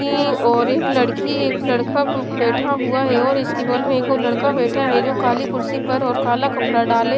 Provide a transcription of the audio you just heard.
ईंईंईं और एक लड़की एक लड़का हु बैठा हुआ है और इसकी बगल में एक और लड़का बैठा है जो काली कुर्सी पर और काला कपड़ा डाले --